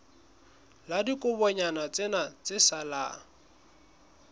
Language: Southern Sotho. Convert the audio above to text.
la dibokonyana tsena tse salang